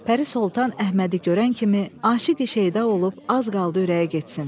Pəri Soltan Əhmədi görən kimi aşiqi şeyda olub az qaldı ürəyi getsin.